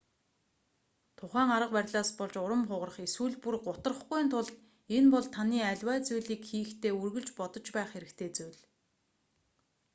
тухайн арга барилаас болж урам хугарах эсвэл бүр гутрахгүйн тулд энэ бол таны аливаа зүйлийг хийхдээ үргэлж бодож байх хэрэгтэй зүйл